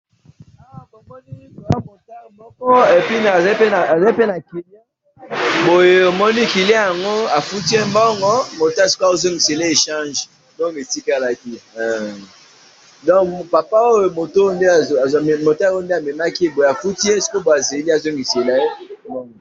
Na moni motard aza ko pesa echange na mutu amemaki.